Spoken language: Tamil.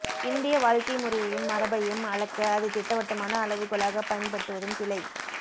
இந்திய வாழ்க்கைமுறையையும் மரபையும் அளக்க அதை திட்டவட்டமான அளவுகோலாக பயன்படுத்துவதும் பிழை